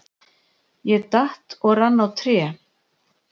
Ég datt og rann á tré.